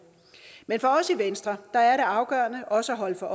men for os i venstre er det afgørende også at holde sig